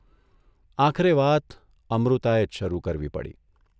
આખરે વાત અમૃતાએ જ શરૂ કરવી પડી.